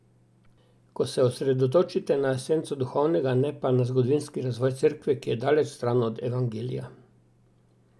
Ko se osredotočite na esenco duhovnega, ne pa na zgodovinski razvoj Cerkve, ki je daleč stran od Evangelija.